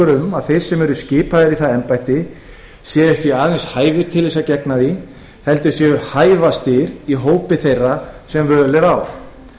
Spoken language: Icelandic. um að þeir sem eru skipaðir í embætti séu ekki aðeins hæfir til að gegna því heldur séu þeir hæfastir í hópi þeirra sem völ er á